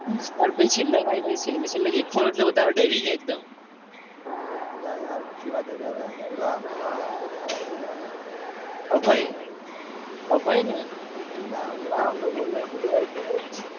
અલા યારઅભય અભયને